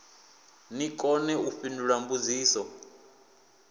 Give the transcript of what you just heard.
ni kone u fhindula mbudziso